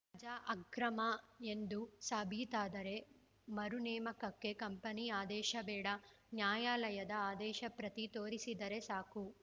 ವಜಾ ಅಕ್ರಮ ಎಂದು ಸಾಬೀತಾದರೆ ಮರುನೇಮಕಕ್ಕೆ ಕಂಪನಿ ಆದೇಶ ಬೇಡ ನ್ಯಾಯಾಲಯದ ಆದೇಶ ಪ್ರತಿ ತೋರಿಸಿದರೆ ಸಾಕು